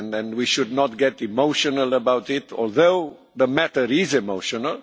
We should not get emotional about it, although the matter is emotional.